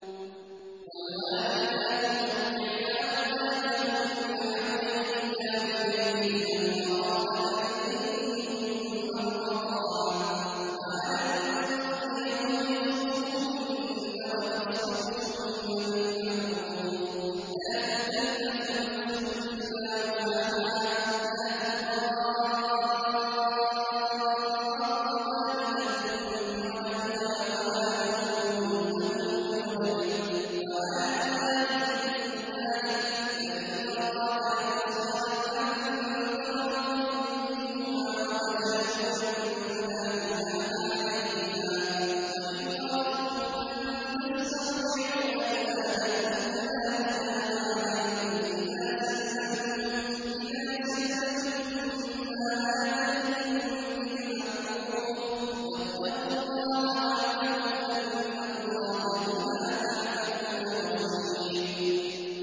۞ وَالْوَالِدَاتُ يُرْضِعْنَ أَوْلَادَهُنَّ حَوْلَيْنِ كَامِلَيْنِ ۖ لِمَنْ أَرَادَ أَن يُتِمَّ الرَّضَاعَةَ ۚ وَعَلَى الْمَوْلُودِ لَهُ رِزْقُهُنَّ وَكِسْوَتُهُنَّ بِالْمَعْرُوفِ ۚ لَا تُكَلَّفُ نَفْسٌ إِلَّا وُسْعَهَا ۚ لَا تُضَارَّ وَالِدَةٌ بِوَلَدِهَا وَلَا مَوْلُودٌ لَّهُ بِوَلَدِهِ ۚ وَعَلَى الْوَارِثِ مِثْلُ ذَٰلِكَ ۗ فَإِنْ أَرَادَا فِصَالًا عَن تَرَاضٍ مِّنْهُمَا وَتَشَاوُرٍ فَلَا جُنَاحَ عَلَيْهِمَا ۗ وَإِنْ أَرَدتُّمْ أَن تَسْتَرْضِعُوا أَوْلَادَكُمْ فَلَا جُنَاحَ عَلَيْكُمْ إِذَا سَلَّمْتُم مَّا آتَيْتُم بِالْمَعْرُوفِ ۗ وَاتَّقُوا اللَّهَ وَاعْلَمُوا أَنَّ اللَّهَ بِمَا تَعْمَلُونَ بَصِيرٌ